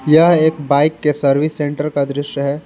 यह एक बाइक के सर्विस सेंटर का दृश्य है।